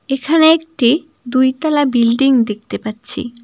এখানে একটি দুইতলা বিল্ডিং দেখতে পাচ্ছি।